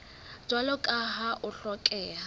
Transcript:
jwalo ka ha ho hlokeha